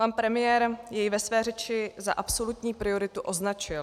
Pan premiér jej ve své řeči za absolutní prioritu označil.